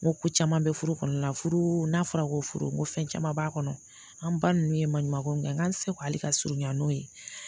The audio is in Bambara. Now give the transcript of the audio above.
N ko ko caman bɛ furu kɔnɔna na furu n'a fɔra ko furu ko fɛn caman b'a kɔnɔ an ba ninnu ye maɲumanko min kɛ n k'an seko hali ka surunya n'o ye